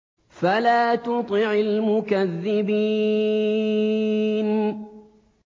فَلَا تُطِعِ الْمُكَذِّبِينَ